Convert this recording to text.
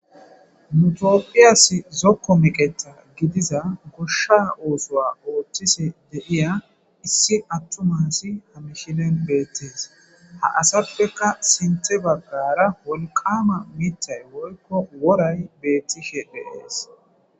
Nu Tophphiyassi zokko meqeththa gidiza koshsha issuwa oththishe de'iya issi attuma asi ha misilen bettes. Ha asappekka sinththe baggara wolqqama miththay woyko woray betishe des.